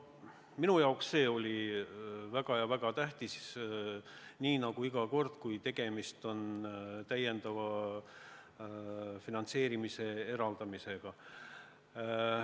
Minu jaoks see oli väga-väga tähtis, nii nagu iga kord, kui tegemist on täiendava summa eraldamisega.